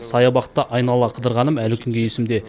саябақты айнала қыдырғаным әлі күнге есімде